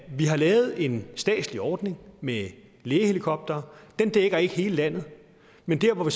vi har lavet en statslig ordning med lægehelikoptere den dækker ikke hele landet men der hvor vi